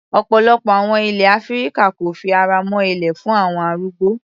Ọ̀pọ̀lọpọ̀ àwọn ilé áfíríkà kò fi ara mọ́ ilé fún àwọn arúgbó.